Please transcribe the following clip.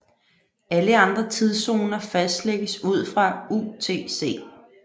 Alle andre tidszoner fastlægges ud fra UTC